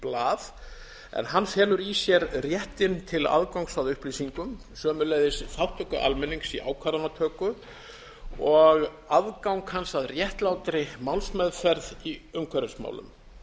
blað en hann felur í sér réttinn til aðgangs að upplýsingum sömuleiðis þátttöku almennings í ákvarðanatöku og aðgang hans að réttlátri málsmeðferð í umhverfismálum